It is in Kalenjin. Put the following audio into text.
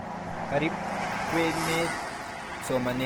Karib kwenet somanet chechang keretab hesabuk